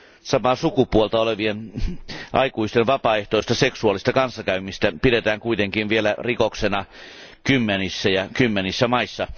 Samaa sukupuolta olevien aikuisten vapaaehtoista seksuaalista kanssakäymistä pidetään kuitenkin vielä rikoksena kymmenissä ja kymmenissä maissa.